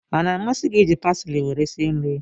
Ọ na-amasị gị iji pasili were sie nri?